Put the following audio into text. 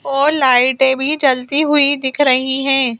और लाइटें भी जलती हुई दिख रही हैं।